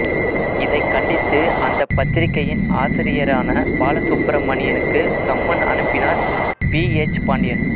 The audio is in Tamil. இதைக் கண்டித்து அந்த பத்திரிக்கையின் ஆசிரியரான பாலசுப்பிரமணியனுக்கு சம்மன் அனுப்பினார் பி எச் பாண்டியன்